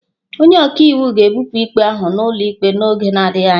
Onye ọka iwu ga-ebupụ ikpe ahụ n'ụlọ ikpe n'oge adịghị anya.